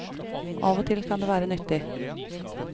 Av og til kan det være nyttig.